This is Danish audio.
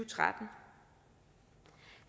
tretten